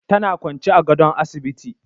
Tana kwance a gadon asibiti.